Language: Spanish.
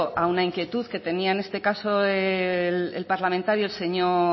a una inquietud que tenía en este caso el parlamentario el señor